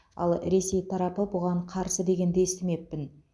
ал ресей тарапы бұған қарсы дегенді естімеппін